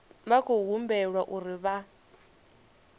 vha khou humbelwa uri vha